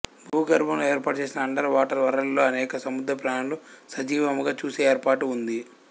భూగర్భములో ఏర్పాటు చేసిన under water world లో అనేక సముద్ర ప్రాణులు సజీవముగా చూసే ఏర్పాటు ఉంది